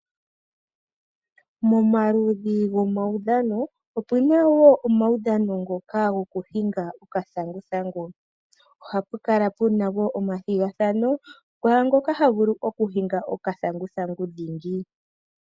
Momaludhi gomaudhano opuna wo omaudhano ngoka gokuhinga okathanguthangu. Ohapu kala pu na woo omathigathano kwaa ngoka ha vulu okuhinga okathanguthangu dhingi.